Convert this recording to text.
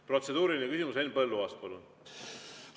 Protseduuriline küsimus, Henn Põlluaas, palun!